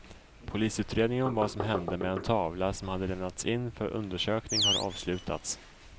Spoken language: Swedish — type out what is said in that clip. Polisutredningen om vad som hände med en tavla som hade lämnats in för undersökning har avslutats.